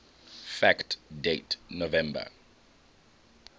fact date november